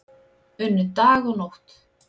Unnu dag og nótt